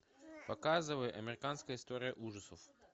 показывай американская история ужасов